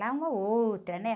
Lá uma ou outra, né?